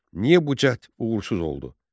Niyə bu cəhd uğursuz oldu?